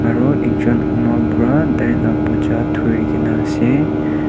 aro ekjun ama para tailaka bacha dhurikena ase.